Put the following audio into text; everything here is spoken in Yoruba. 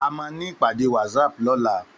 Àmá ni ipàdé wàtsáp lòlá